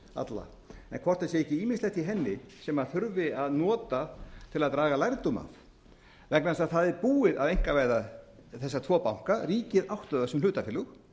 hvort það sé ekki ýmislegt í henni sem þurfi að nota til að draga lærdóm af vegna þess að það er búið að einkavæða þessa tvo banka ríkið átti þá sem hlutafélög